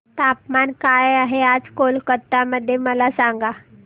तापमान काय आहे आज कोलकाता मध्ये मला सांगा